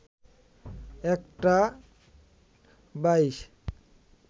১টা ২২